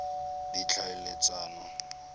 ditlhaeletsano